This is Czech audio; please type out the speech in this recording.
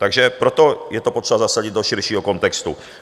Takže proto je potřeba to zasadit do širšího kontextu.